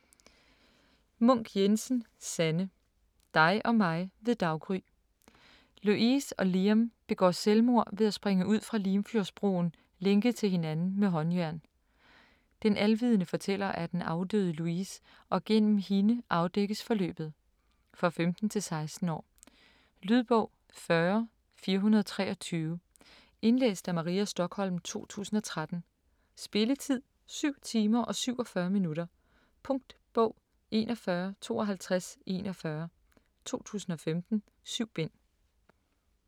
Munk Jensen, Sanne: Dig og mig ved daggry Louise og Liam begår selvmord ved at springe ud fra Limfjordsbroen, lænket til hinanden med håndjern. Den alvidende fortæller er den afdøde Louise og gennem hende afdækkes forløbet. For 15-16 år. Lydbog 40423 Indlæst af Maria Stokholm, 2013. Spilletid: 7 timer, 47 minutter. Punktbog 415241 2015. 7 bind.